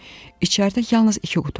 İçəridə yalnız iki qutu vardı.